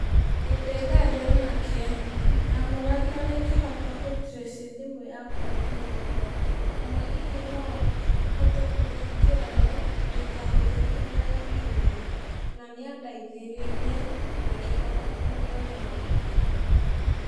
ĩ ndĩ ndaria nake, ndamũragia ũrĩa ingĩhota gũ trace thimũ yakwa ĩiyĩtwo, kana hihi noahote kũhingĩra yo, ndĩkahũthĩke nĩ arĩa maiya, na nĩa ndeithĩrĩirie, na ngĩhota kũmĩona rĩngĩ.